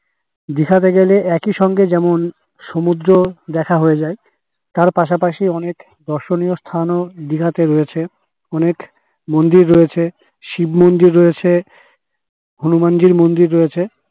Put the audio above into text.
দিঘা তে গেলে একই সঙ্গে যেমন সমুদ্র দেখা হয় যাই তার পাশাপাশি অনেক দর্শনীয় স্থান ও দিঘা তে রয়েছে অনেক মন্দির রয়েছে শিব মন্দির রয়েছে হনুমান জির মন্দির রয়েছে